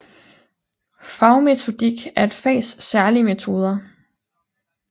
Fagmetodik er et fags særlige metoder